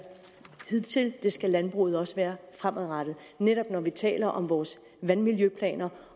hidtil det skal landbruget også være fremadrettet netop når vi taler om vores vandmiljøplaner